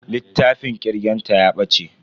Littafin kirgen ta ya bace.